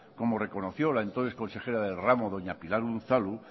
como reconoció la entonces consejera del ramo doña pilar unzalu